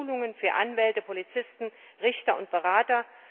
B. durch Schulungen für Anwälte, Polizisten, Richter und Berater.